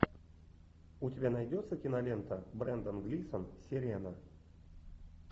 у тебя найдется кинолента брендан глисон сирена